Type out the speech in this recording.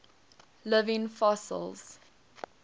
living fossils